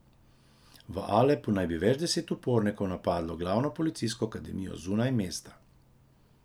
V Alepu naj bi več deset upornikov napadlo glavno policijsko akademijo zunaj mesta.